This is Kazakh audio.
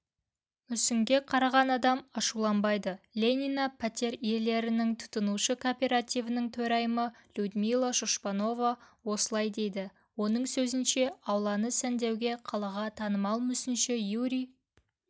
мүсінге қараған адам ашуланбайды ленина пәтер иелерінің тұтынушы кооперативінің төрайымылюдмила шушпанова осылай дейді оның сөзінше ауланы сәндеуге қалаға танымал мүсінші юрий